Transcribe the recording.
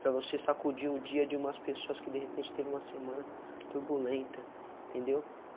Para você sacudir o dia de umas pessoas que de repente teve uma semana turbulenta, entendeu?